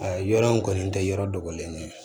A yɔrɔ in kɔni tɛ yɔrɔ dɔgɔlen ye